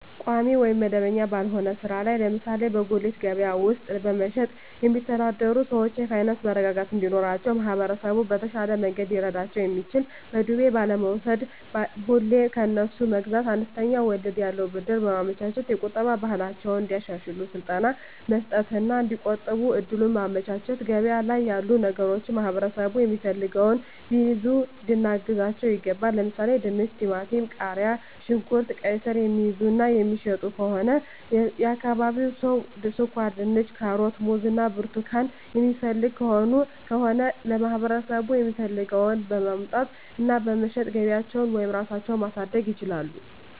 ቋሚ ወይም መደበኛ ባልሆነ ሥራ ላይ ለምሳሌ በጉሊት ገበያ ውስጥ በመሸጥየሚተዳደሩ ሰዎች የፋይናንስ መረጋጋት እንዲኖራቸው ማህበረሰቡ በተሻለ መንገድ ሊረዳቸው የሚችለው በዱቤ ባለመውስድ፤ ሁሌ ከነሱ መግዛት፤ አነስተኛ ወለድ ያለው ብድር በማመቻቸት፤ የቁጠባ ባህላቸውን እንዲያሻሽሉ ስልጠና መስጠት እና እዲቆጥቡ እድሉን ማመቻቸት፤ ገበያ ላይ ያሉ ነገሮችን ማህበረሠቡ የሚፈልገውን ቢይዙ ልናግዛቸው ይገባል። ለምሣሌ፦፤ ድንች፤ ቲማቲም፤ ቃሪያ፣ ሽንኩርት፤ ቃይስር፤ የሚይዙ እና የሚሸጡ ከሆነ የአካባቢው ሠው ስኳርድንች፤ ካሮት፤ ሙዝ እና ብርቱካን የሚፈልግ ከሆነ ለማህበረሰቡ የሚፈልገውን በማምጣት እና በመሸጥ ገቢያቸውን ወይም ራሳቸው ማሣደግ ይችላሉ።